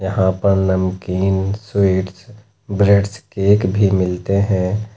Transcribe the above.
यहाँ पर नमकीन स्वीट्स ब्रेडस् केक भी मिलते हैं।